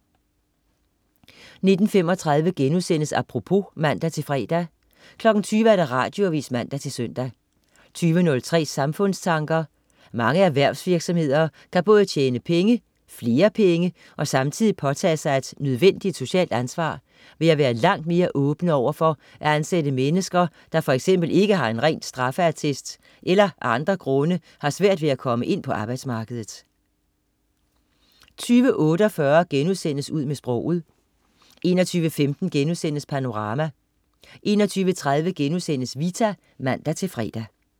19.35 Apropos* (man-fre) 20.00 Radioavis (man-søn) 20.03 Samfundstanker. Mange erhvervsvirksomheder kan både tjene flere penge og samtidig påtage sig et nødvendigt socialt ansvar ved at være langt mere åbne over for at ansætte mennesker, der f.eks. ikke har en ren straffeattest eller af andre grunde har svært ved at komme ind på arbejdsmarkedet 20.48 Ud med sproget* 21.15 Panorama* 21.30 Vita* (man-fre)